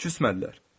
Küsmədilər.